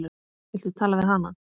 Viltu tala við hana?